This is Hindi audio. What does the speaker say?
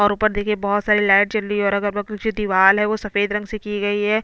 और ऊपर देखिये बहोत सारे लाइट जल रही है और दीवाल है वो सफेद रंग से की गई है।